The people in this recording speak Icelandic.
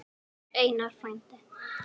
Einar frændi.